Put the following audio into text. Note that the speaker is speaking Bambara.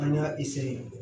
An y'a